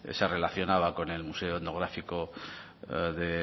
se relacionaba con el museo etnográfico de